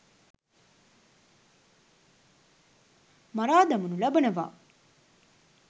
මරා දමනු ලබනවා.